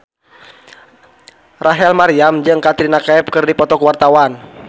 Rachel Maryam jeung Katrina Kaif keur dipoto ku wartawan